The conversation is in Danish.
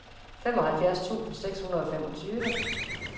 femoghalvfjerds tusind seks hundrede og femogtyve